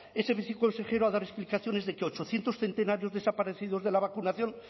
ese viceconsejero a dar explicaciones de que ochocientos centenarios desaparecidos de la vacunación